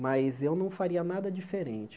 Mas eu não faria nada diferente.